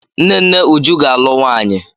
Nne nne Uju ga-alụ nwanyị.